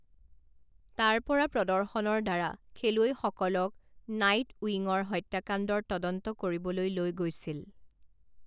তাৰ পৰা প্ৰদৰ্শনৰ দ্বাৰা খেলুৱৈসকলক নাইটউইঙৰ হত্যাকাণ্ডৰ তদন্ত কৰিবলৈ লৈ গৈছিল।